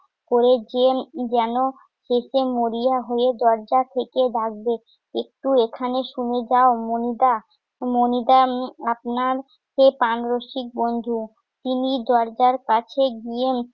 করে জেন~ যেন একটু মরিয়া হয়ে দরজা থেকে ডাকবে, একটু এখানে শুনে যাও মণিটা। মণিটা উম আপনার সেই প্রাণরসিক বন্ধু। তিনি দরজার পাশে গিয়ে